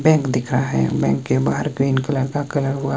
bank दिख रहा है बैंक के बाहर ग्रीन कलर का कलर हुआ--